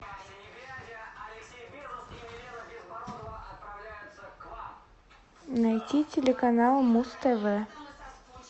найди телеканал муз тв